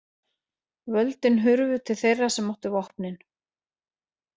Völdin hurfu til þeirra sem áttu vopnin.